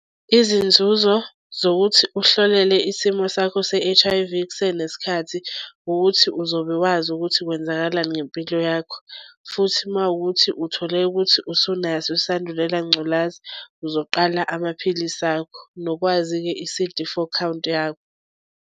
Izinzuzo zokuthi uhlolele isimo sakho se-H_I_V kusenesikhathi ukuthi uzobe wazi ukuthi kwenzakalani ngempilo yakho. Futhi uma kukuthi uthole ukuthi usunaso isandulela ngculazi uzoqala amaphilisi akho. Nokwazi-ke i-C_D four count yakho.